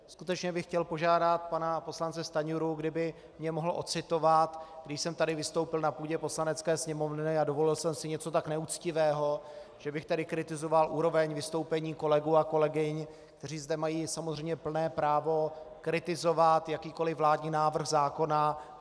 Skutečně bych chtěl požádat pana poslance Stanjuru, kdyby mě mohl odcitovat, kdy jsem tady vystoupil na půdě Poslanecké sněmovny a dovolil jsem si něco tak neuctivého, že bych tady kritizoval úroveň vystoupení kolegů a kolegyň, kteří zde mají samozřejmě plné právo kritizovat jakýkoliv vládní návrh zákona.